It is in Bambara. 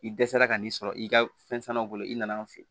I dɛsɛra ka n'i sɔrɔ i ka fɛn sanu bolo i nana an fɛ yen